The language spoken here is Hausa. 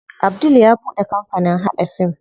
Abdul ya buɗe kampanin haɗa fim.